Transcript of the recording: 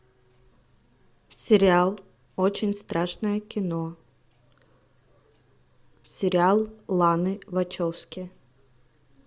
сериал очень страшное кино сериал ланы вачовски